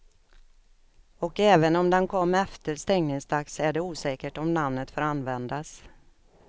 Och även om den kom efter stängningsdags är det osäkert om namnet får användas.